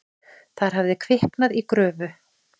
Þar hafði kviknað í gröfu.